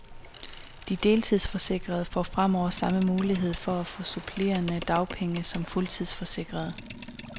De deltidsforsikrede får fremover samme mulighed for at få supplerende dagpenge som fuldtidsforsikrede.